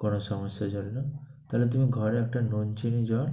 কোনো সমস্যার জন্য, তাইলে তুমি ঘরে একটা নুন, চিনি, জল